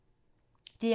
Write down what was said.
DR1